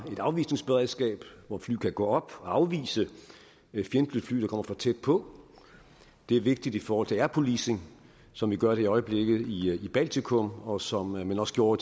et afvisningsberedskab hvor fly kan gå op og afvise fjendtlige fly der kommer for tæt på det er vigtigt i forhold til air policing som vi gør det i øjeblikket i baltikum og som man også gjorde